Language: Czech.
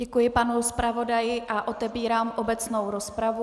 Děkuji panu zpravodaji a otevírám obecnou rozpravu.